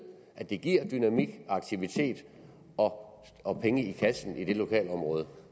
at det giver dynamik og aktivitet og og penge i kassen i lokalområdet